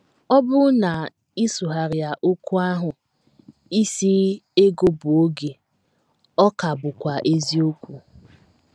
Ọ bụrụ na ị sụgharịa okwu ahụ isi ego bụ oge ọ ka bụkwa eziokwu.